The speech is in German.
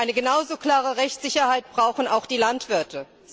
Eine genau so klare Rechtsicherheit brauchen auch die Landwirte.